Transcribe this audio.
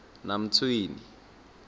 namtshweni